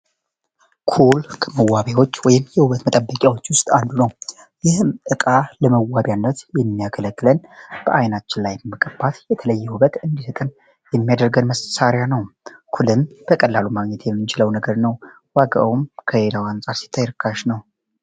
ኩል ከመዋቢያ ቁሳቁሶች ወይም የውበት መጠን መጠበቂያዎች ውስጥ አንዱ ነው ይህም ለመዋቢያነት የሚያገለግለን በዓይናችን ላይ በመቀባት የምናደርገው መሣሪያ ነው ኩልን በቀላሉ ማግኘት የምንችለው መሣሪያ ነው ዋጋው ከሌላው አንጻር ሲታይ ርካሽ ነው።